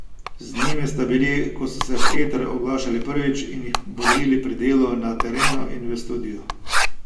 Z njimi sta bili, ko so se v eter oglašali prvič, in jih bodrili pri delu na terenu in v studiu.